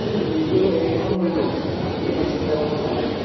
এইটো, এইখন লৈ লোৱা, আৰু বেলেগ চিন্তা কৰিব নালাগে।